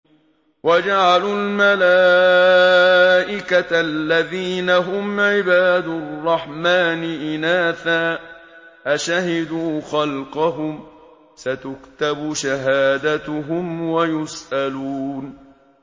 وَجَعَلُوا الْمَلَائِكَةَ الَّذِينَ هُمْ عِبَادُ الرَّحْمَٰنِ إِنَاثًا ۚ أَشَهِدُوا خَلْقَهُمْ ۚ سَتُكْتَبُ شَهَادَتُهُمْ وَيُسْأَلُونَ